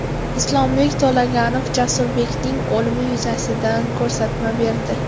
Islombek To‘laganov Jasurbekning o‘limi yuzasidan ko‘rsatma berdi.